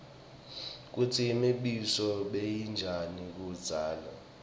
kutsi imibuso beyinjani kudzala